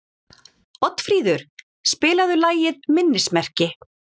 Oddfríður, spilaðu lagið „Minnismerki“.